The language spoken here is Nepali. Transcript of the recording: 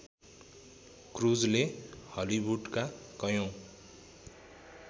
क्रूजले हलिवुडका कयौँ